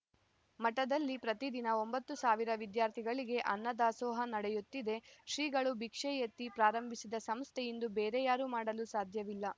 ಮಠದಲ್ಲಿ ಪ್ರತಿದಿನ ಒಂಬತ್ತು ಸಾವಿರ ವಿದ್ಯಾರ್ಥಿಗಳಿಗೆ ಅನ್ನದಾಸೋಹ ನಡೆಯುತ್ತಿದೆ ಶ್ರೀಗಳು ಭಿಕ್ಷೆ ಎತ್ತಿ ಪ್ರಾರಂಭಿಸಿದ ಸಂಸ್ಥೆ ಇಂದು ಬೇರೆ ಯಾರೂ ಮಾಡಲು ಸಾಧ್ಯವಿಲ್ಲ